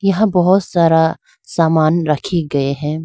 यहां बहुत सारा सामान रखी गए हैं।